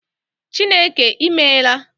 Chineke I meela